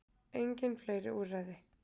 Engin fleiri úrræði